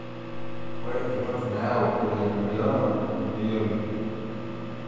Ore entoki nayau Polyembryoma nemeyioloi.